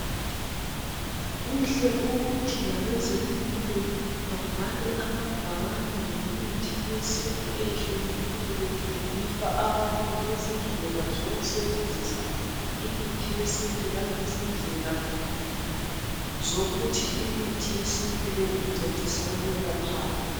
Kuhle ukuthi abezempilo babhale amabhakane ngemithi yesintu eyehlukeneyo befundisa abantu ngezindlela sokusebenzisa imithi yesintu langezindlela zokuthi imithi yesintu le incedisa ukwelaphani.